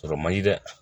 Sɔrɔ man di dɛ